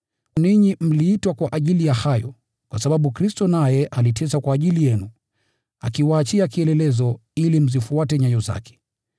Ninyi mliitwa kwa ajili ya haya, kwa sababu Kristo naye aliteswa kwa ajili yenu, akiwaachia kielelezo, ili mzifuate nyayo zake.